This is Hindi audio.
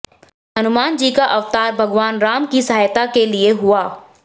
हनुमानजी का अवतार भगवान राम की सहायता के लिये हुआ